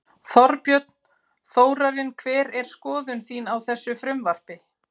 Þorbjörn: Þórarinn hver er skoðun þín á þessu frumvarpi?